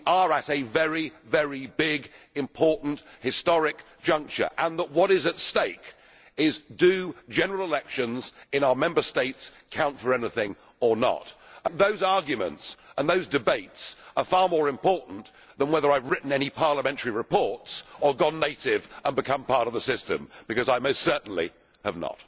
we are at a very big, important, historic juncture. And what is at stake is do general elections in our Member States count for anything or not? Those arguments and those debates are far more important than whether I have written any parliamentary reports or gone native and become part of the system, because I most certainly have not.